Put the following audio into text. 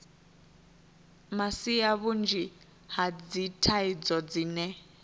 masia vhunzhi ha dzithaidzo dzine